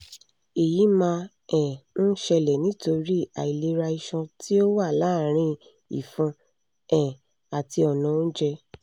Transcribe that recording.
èyí máa um ń ṣẹlẹ̀ nítorí àìlera iṣan tí ó wà láàrin ìfun um àti ọ̀nà oúnjẹ